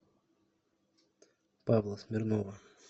павла смирнова